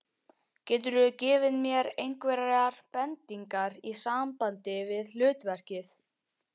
Geturðu gefið mér einhverjar bendingar í sambandi við hlutverkið?